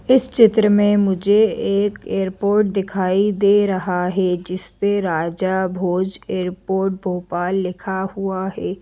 इस चित्र में मुझे एक एयरपोर्ट दिखाई दे रहा है जिस पे राजा भोज एयरपोर्ट भोपाल लिखा हुआ है।